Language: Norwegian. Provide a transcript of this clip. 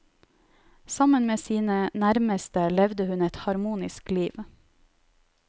Sammen med sine nærmeste levde hun et harmonisk liv.